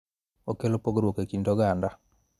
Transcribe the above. Okelo pogruok e kind oganda.